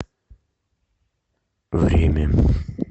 время